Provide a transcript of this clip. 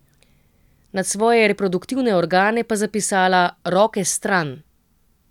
Nad svoje reproduktivne organe pa zapisala: 'Roke stran'.